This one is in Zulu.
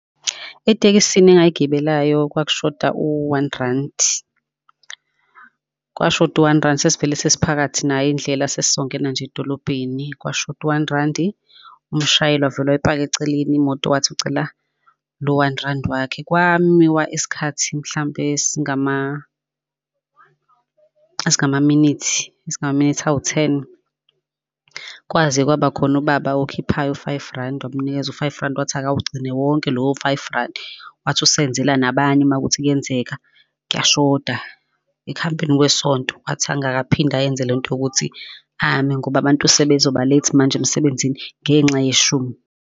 Etekisini engayigibelayo, kwakushoda u-one randi, kwashoda u-one randi sesivele sesiphakathi nayo indlela sesizongena nje edolobheni kwashoda u-one randi, umshayeli wavele mayipaka eceleni imoto wathi ucela lo-one rand wakhe. Kwamiswa isikhathi mhlampe singama, esingama-minute, esingama-minute awu-ten, kwaze kwaba khona ubaba okhiphayo u-five randi wamunikeza u-five rand wathi awugcine wonke lowo-five randi. Wathi usenzela nabanye uma kuwukuthi kuyenzeka kuyashoda ekuhambeni kwesonto, wathi angakaphinde ayenze lonto yokuthi ame ngoba abantu sebezoba late manje emsebenzini ngenxa yeshumi.